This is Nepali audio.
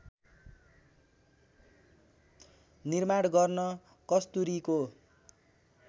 निर्माण गर्न कस्तुरीको